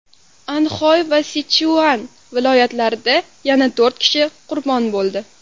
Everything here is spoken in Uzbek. Anxoy va Sichuan viloyatlarida yana to‘rt kishi qurbon bo‘ldi.